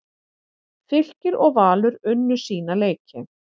Fylkir og Valur unnu sína leiki